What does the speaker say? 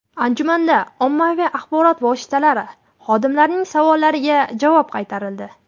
Anjumanda ommaviy axborot vositalari xodimlarining savollariga javob qaytarildi.